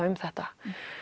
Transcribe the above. um þetta